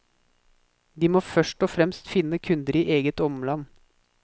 De må først og fremst finne kunder i eget omland.